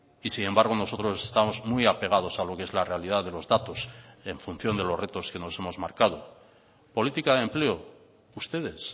y sin embargo nosotros estamos muy apegados a lo que es la realidad de los datos en función de los retos que nos hemos marcado política de empleo ustedes